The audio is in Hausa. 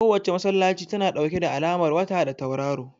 Kowace masallaci tana ɗauke da alamar wata da tauraro